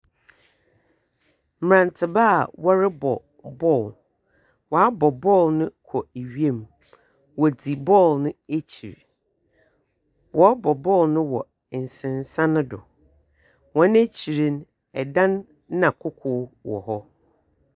Mmrantekwaa a wɔrebɔ bɔɔlo wɔn abɔ bɔɔlo kɔ wim wɔdi bɔɔlo no akyi wɔrebɔ bɔɔlo no wɔ nsensan mu wɔn akyi no ɔdan ne koko wɔ hɔ.